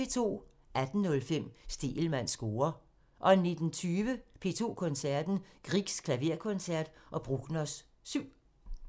18:05: Stegelmanns score (tir) 19:20: P2 Koncerten – Griegs klaverkoncert og Bruckners 7